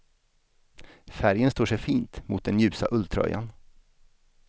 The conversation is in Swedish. Färgen står sig fint mot den ljusa ulltröjan.